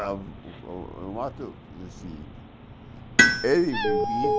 A o o ele vivia,